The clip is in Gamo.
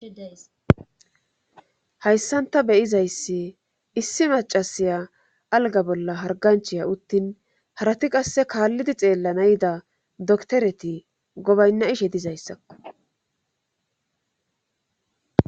hayssanta beyizayssi issi macasiya alga bolla harganchiya uttin harati qasse kaallidi xeella nayda doktoreti gobaynna ishe dizayssakko